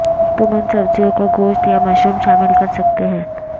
تم ان سبزیوں کا گوشت یا مشروم شامل کر سکتے ہیں